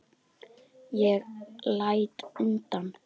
Ég læt undan.